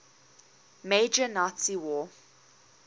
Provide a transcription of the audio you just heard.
major nazi war